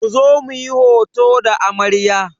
Ku zo muyi hoto da amarya!